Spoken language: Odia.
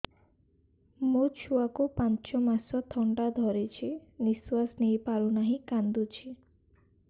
ମୋ ଛୁଆକୁ ପାଞ୍ଚ ମାସ ଥଣ୍ଡା ଧରିଛି ନିଶ୍ୱାସ ନେଇ ପାରୁ ନାହିଁ କାଂଦୁଛି